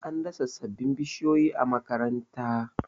an dasa sababbin bishiyoyi a makaranta